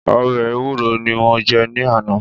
Ọbẹ̀ ẹwúro ní mo jẹ ní àná.